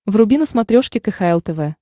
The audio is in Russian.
вруби на смотрешке кхл тв